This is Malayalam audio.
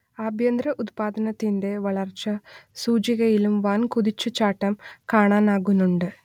ആഭ്യന്തര ഉത്പാദനത്തിന്റെ വളർച്ചാ സൂചികയിലും വൻകുതിച്ചു ചാട്ടം കാണാനാകുന്നുണ്ട്